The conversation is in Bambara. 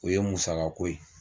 O ye musako ye.